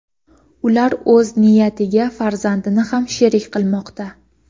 ular o‘z jinoyatiga farzandini ham sherik qilmoqda.